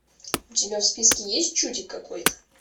у тебя в списке есть чудик какой то